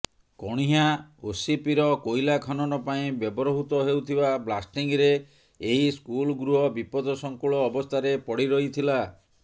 କଣିହାଁ ଓସିପିର କୋଇଲା ଖନନ ପାଇଁ ବ୍ୟବହୃତ ହେଉଥିବା ବ୍ଲାଷ୍ଟିଙ୍ଗରେଏହି ସ୍କୁଲ ଗୃହ ବିପଦ ସଙ୍କୁଳ ଅବସ୍ଥାରେ ପଡିରହିଥିଲା